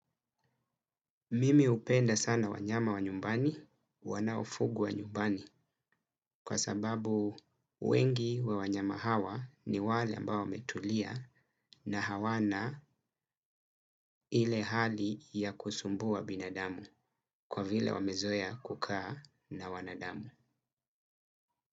Mimi hupenda sana wanyama wa nyumbani, wanaofugwa nyumbani kwa sababu wengi wa wanyama hawa ni wale ambao wametulia na hawana ile hali ya kusumbua binadamu kwa vile wamezoea kukaa na wanadamu.